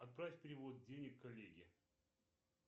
отправь перевод денег коллеге